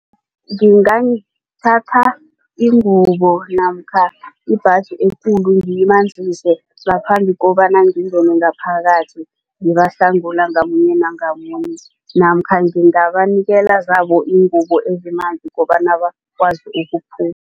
Ngingathatha ingubo namkha ibhaji ekulu ngiyimanzise ngaphambi kobana ngingene ngaphakathi ngibahlangula ngamunye ngamunye namkha ngingabanikela zabo iingubo ezimanzi kobana bakwazi ukuphuma.